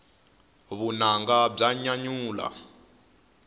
vunanga bya nyanyula